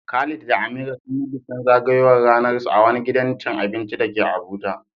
Khalid da Amira sun yi bikin zagayowar ranarsu a wani gidan cin abinci da ke Abuja.